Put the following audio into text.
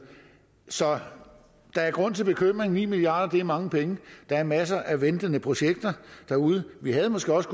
så der er grund til bekymring ni milliard kroner er mange penge der er masser af ventende projekter derude vi havde måske også